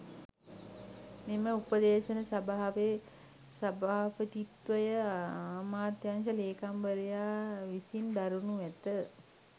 මෙම උපදේශන සභාවේ සභාපතිත්වය අමාත්‍යාංශ ‍ලේකම්වරයා විසින් දරනු ඇත.